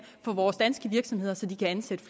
på vores danske virksomheder så de kan ansætte